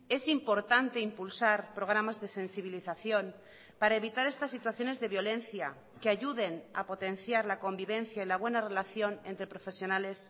es importante impulsar programas de sensibilización para evitar estas situaciones de violencia que ayuden a potenciar la convivencia y la buena relación entre profesionales